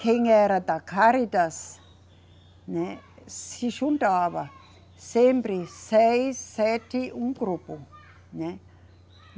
Quem era da Cáritas, né, se juntava sempre seis, sete, um grupo, né.